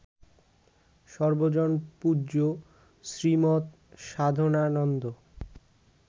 সর্বজনপূজ্য Shrimat Sadhanananda